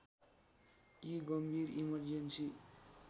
कि गम्भीर इमर्जेन्‍सी